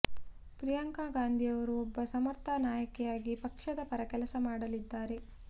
ಪ್ರಿಯಾಂಕಾ ಗಾಂಧಿಯವರು ಒಬ್ಬ ಸಮರ್ಥ ನಾಯಕಿಯಾಗಿ ಪಕ್ಷದ ಪರ ಕೆಲಸ ಮಾಡಲಿದ್ದಾರೆ